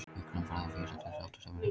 Hjúkrunarfræðingar vísa til sáttasemjara